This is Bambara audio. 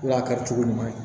N'a kɛra cogo ɲuman ye